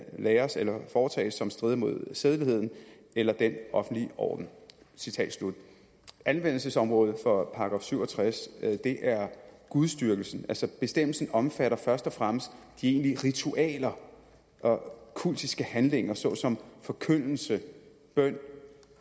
læres eller foretages som strider mod sædeligheden eller den offentlige orden anvendelsesområdet for § syv og tres er gudsdyrkelsen altså bestemmelsen omfatter først og fremmest de egentlige ritualer og kultiske handlinger såsom forkyndelse bøn